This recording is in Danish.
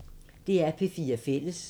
DR P4 Fælles